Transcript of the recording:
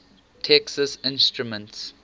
texas instruments